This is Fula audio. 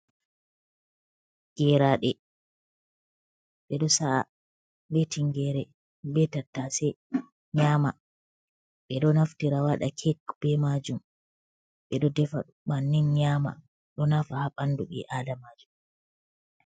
Geeraɗe beɗo sa'a be tingeere be tattase nyaama. Ɓeɗo naftira waaɗa kek be maajum. Ɓeɗo defaɗum bannin nyaama, ɗo naafa ha ɓandu bii adamajo.